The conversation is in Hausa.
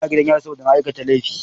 Ina gidan yari saboda na aikata laifi.